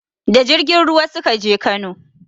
Da jirgin ruwa suka je Kano